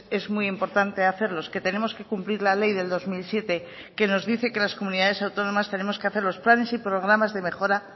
es muy importante hacerlos que tenemos que cumplir la ley del dos mil siete que nos dice que las comunidades autónomas tenemos que hacerlos planes y programas de mejora